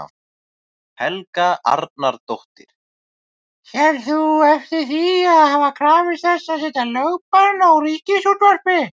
Helga Arnardóttir: Sérð þú eftir því að hafa krafist þess að setja lögbann á Ríkisútvarpið?